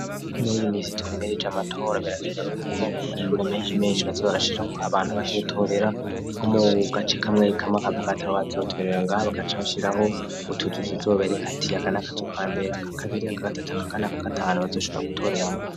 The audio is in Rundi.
Muri iyi misi twimirije amatora berakneba y'uko ku mashuri menshi menshi bazebarashira kuho abantu baze gutorera ho mub gace kamwe kama ka bwato bazotorera ngabakaca bashyiraho butotuz zobereka ati akanakatu ka mbere ka kabiri aka gatatu aka kanaka gatanu bazoshibora gutoreramwo.